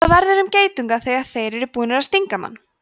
hvað verður um geitunga þegar þeir eru búnir að stinga mann